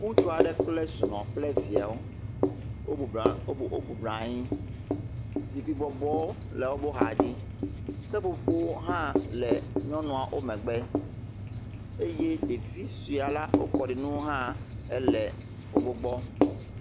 Ŋutsua ɖe kple srɔ̃kple kple viawo ,wobublɔ wobublɔ anyi, zikpui bɔbɔ le woƒe xa dzi, seƒƒoƒowo ha le nyɔnua omegbe eye ɖevi sɔe haã le kɔɖi nu le wo megbe.